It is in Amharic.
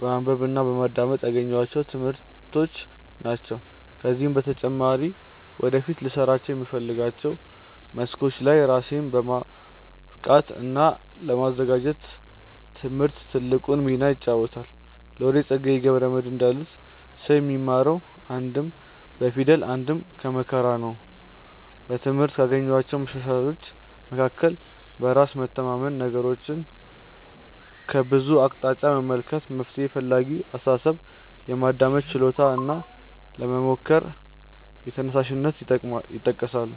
በማንበብ እና በማዳመጥ ያገኘኋቸው ትምህርቶች ናቸው። ከዚህም በተጨማሪ ወደፊት ልሰራባቸው በምፈልጋቸው መስኮች ላይ ራሴን ለማብቃት እና ለማዘጋጀት ትምህርት ትልቁን ሚና ይጫወታል። ሎሬት ፀጋዬ ገብረ መድህን እንዳሉት "ሰው የሚማረው አንድም ከፊደል አንድም ከመከራ ነው"።በትምህርት ካገኘኋቸው መሻሻሎች መካከል በራስ መተማመን፣ ነገሮችን ከብዙ አቅጣጫ መመልከት፣ መፍትሔ ፈላጊ አስተሳሰብ፣ የማዳመጥ ችሎታ እና ለመሞከር ተነሳሽነት ይጠቀሳሉ።